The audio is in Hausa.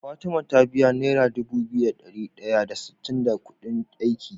Fatima ta biya naira Dubu biyu da dari daya da sittin da Ƙudin aiki